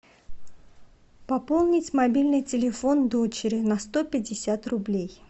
пополнить мобильный телефон дочери на сто пятьдесят рублей